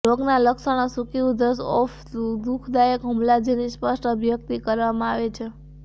રોગ ના લક્ષણો સૂકી ઉધરસ ઓફ દુઃખદાયક હુમલા જેની સ્પષ્ટ અભિવ્યક્તિ કરવામાં આવે છે